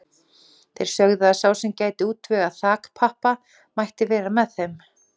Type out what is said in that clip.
Þeir sögðu að sá sem gæti útvegað þakpappa mætti vera með þeim.